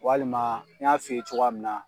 Walima n y'a f'i ye cogoya min na